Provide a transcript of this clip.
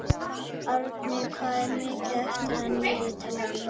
Árni, hvað er mikið eftir af niðurteljaranum?